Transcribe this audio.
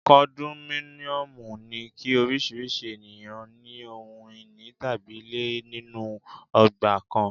Kondominiomu ni kí oríṣiríṣi ènìyàn ní ohun ìní tàbí ilé nínú ọgbà kan.